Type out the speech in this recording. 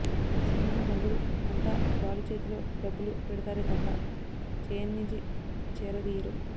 ఈ సమయంలో బంధువులు అంతా బాలు చేతిలో డబ్బులు పెడతారే తప్ప చేయందించి చేరదీయరు